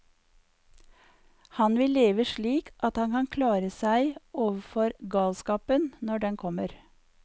Han vil leve slik at han kan klare seg overfor galskapen, når den kommer.